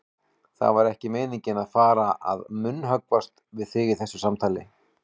Það var ekki meiningin að fara að munnhöggvast við þig í þessu samtali.